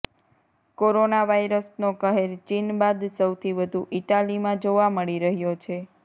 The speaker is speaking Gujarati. કોરોના વાઈરસનો કહેર ચીન બાદ સૌથી વધુ ઈટાલીમાં જોવા મળી રહ્યો છે